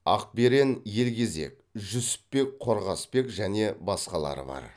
ақперен елгезек жүсіпбек қорғасбек және басқалары бар